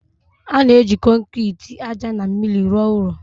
A na-eji kọnkịtị, ájá na mmiri rụọ ụlọ